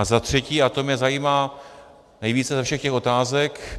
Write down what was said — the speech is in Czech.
A za třetí, a to mě zajímá nejvíce ze všech těch otázek.